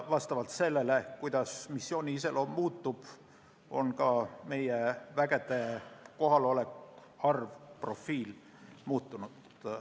Vastavalt sellele, kuidas missiooni iseloom muutub, on muutunud ka meie vägede kohalolek, harv profiil.